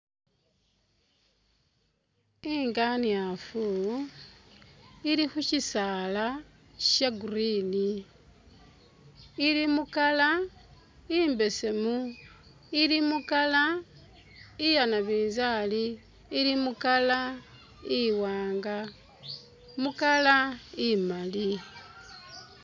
Inganiaafu ili khu syisaala sha green, ili mu colour imbesemu, ili mu colour iya nabinzali, ili mu colour iwaanga, mu colour imaali.